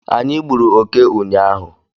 Anyị gburu oke ụnyaahụ